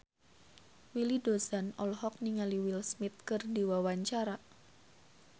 Willy Dozan olohok ningali Will Smith keur diwawancara